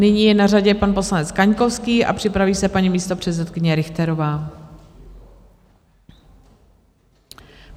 Nyní je na řadě pan poslanec Kaňkovský a připraví se paní místopředsedkyně Richterová.